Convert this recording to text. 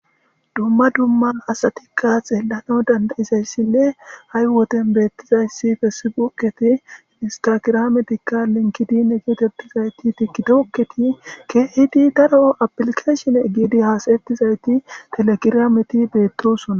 Duma duma asati kardey xellanaw danda'izaysi hai woden bettizasi fessibuuke instagirameti linkidinr tikitoketi kehidi daro appiliikeshineti hasayetizayti telegirame betossona